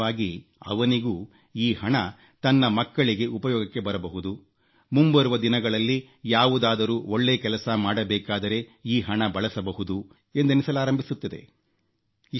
ನಿಧಾನವಾಗಿ ಅವನಿಗೂ ಈ ಹಣ ತನ್ನ ಮಕ್ಕಳಿಗೆ ಉಪಯೋಗಕ್ಕೆ ಬರಬಹುದು ಮುಂಬರುವ ದಿನಗಳಲ್ಲಿ ಯಾವುದಾದರೂ ಒಳ್ಳೇ ಕೆಲಸ ಮಾಡಬೇಕಾದರೆ ಈ ಹಣ ಬಳಸಬಹುದು ಎಂದೆನಿಸಲಾರಂಭಿಸಿದೆ